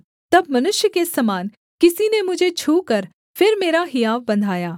तब मनुष्य के समान किसी ने मुझे छूकर फिर मेरा हियाव बन्धाया